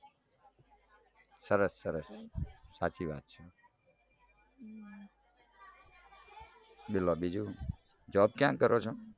સરસ સરસ બોલો બીજું job ક્યાં કરો છો